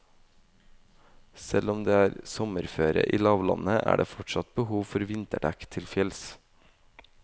Selv om det er sommerføre i lavlandet, er det fortsatt behov for vinterdekk til fjells.